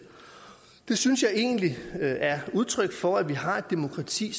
det synes jeg egentlig er udtryk for at vi har et demokrati